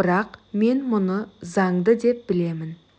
бірақ мен мұны заңды деп білемін